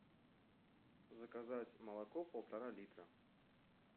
заказать молоко полтора литра